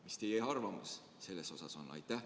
Mis teie arvamus selle kohta on?